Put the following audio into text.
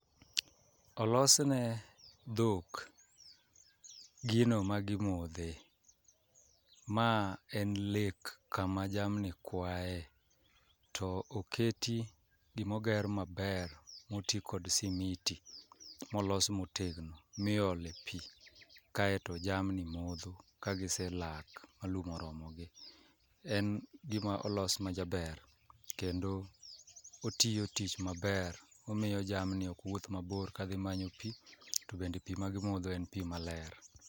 Olosne dhok gino ma gimodhe, ma en lek kama jamni kwae. To oketi gimoger maber moti kod simiti, molos motegno miole pi kaeto jamni modho kagise lak ma lum oromo gi. En gima olos ma jaber, kendo otiyo tich maber, omiyo jamni ok wuoth mabor kadhi manyo pi. To be pi ma gimodho en pi maler.